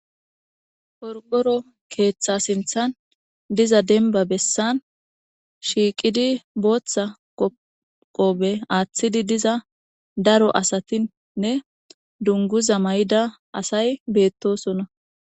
Qorqqoro keeththaa sinththan diza dembba bessan shiiqidi booththa qoobe aaththidi diza daro asathinne dunguza mayida asay beeththoosona.